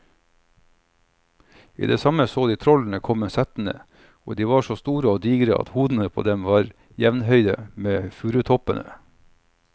I det samme så de trollene komme settende, og de var så store og digre at hodene på dem var jevnhøye med furutoppene.